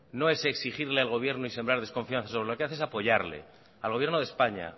no es exigirle al gobierno y sembrar desconfianza lo que hacer es apoyarle al gobierno de españa